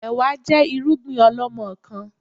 Ẹ̀wá jẹ́ irúgbìn ọlọmọkan